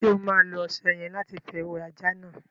Ṣo ma lo ọṣẹ yẹ̀n lati fi wẹ ajá náà?